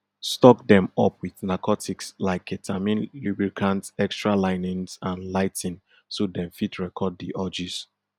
stock dem up wit narcotics like ketamine lubricant extra linens and lighting so dem fit record di orgies